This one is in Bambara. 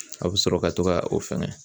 A bɛ sɔrɔ ka to ka o fɛnɛ